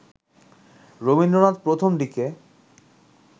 রবীন্দ্রনাথ প্রথম দিকে